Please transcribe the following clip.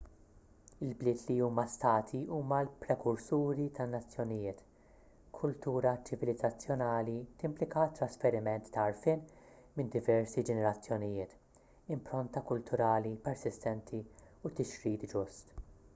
il-bliet li huma stati huma l-prekursuri tan-nazzjonijiet kultura ċivilizzazzjonali timplika t-trasferiment ta' għarfien minn diversi ġenerazzjonijiet impronta kulturali persistenti u tixrid ġust